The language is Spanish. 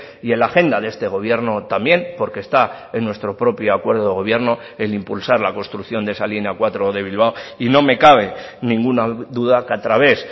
y en la agenda de este gobierno también porque está en nuestro propio acuerdo de gobierno el impulsar la construcción de esa línea cuatro de bilbao y no me cabe ninguna duda que a través